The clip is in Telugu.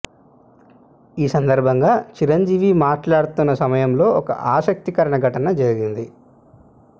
ఈ సందర్భంగా చిరంజీవి మాట్లాడుతున్న సమయంలో ఓ ఆసక్తికర సంఘటన జరిగింది